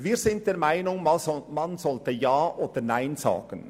Wir sind der Meinung, man sollte Ja oder Nein sagen.